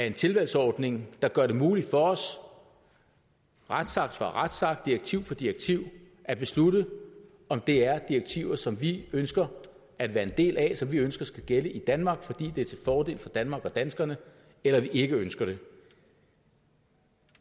en tilvalgsordning der gør det muligt for os retsakt for retsakt direktiv for direktiv at beslutte om det er direktiver som vi ønsker at være en del af som vi ønsker skal gælde i danmark fordi det er til fordel for danmark og danskerne eller vi ikke ønsker det